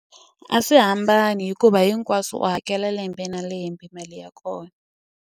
A swi hambani hikuva hinkwaswo u hakela lembe na lembe mali ya kona.